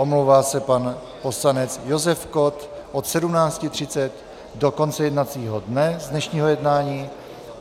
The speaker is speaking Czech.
Omlouvá se pan poslanec Josef Kott od 17.30 do konce jednacího dne z dnešního jednání.